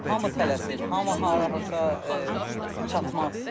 Hamı tələsir, hamı harasa çatmaq istəyir.